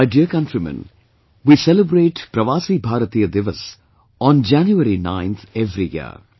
My dear countrymen, we celebrate Pravasi Bharatiya Divas on January 9 th every year